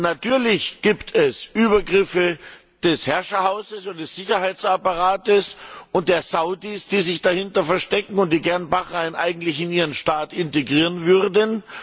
Natürlich gibt es Übergriffe des Herrscherhauses und des Sicherheitsapparates und der Saudis, die sich dahinter verstecken und die gerne Bahrain in ihren Staat integrieren würden.